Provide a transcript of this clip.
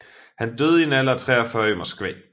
Han døde i en alder af 43 år i Moskva